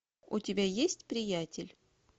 у тебя есть приятель